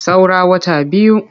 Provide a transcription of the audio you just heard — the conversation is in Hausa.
Saura wata biyu.